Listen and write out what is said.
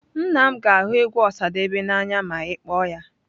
Nna m ga ahu egwu Osadebe n'anya ma i kpoo ya.